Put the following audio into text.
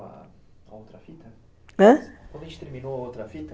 Quando a gente terminou a outra fita,